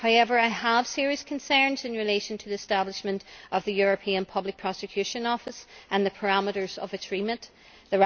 However, I have serious concerns relating to the establishment of the European public prosecutor's office and the parameters of its remit.